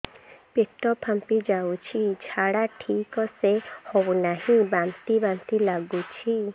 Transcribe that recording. ପେଟ ଫାମ୍ପି ଯାଉଛି ଝାଡା ଠିକ ସେ ହଉନାହିଁ ବାନ୍ତି ବାନ୍ତି ଲଗୁଛି